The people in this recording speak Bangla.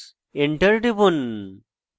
enter টিপুন